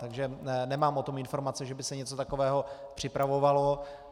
Takže nemám o tom informace, že by se něco takového připravovalo.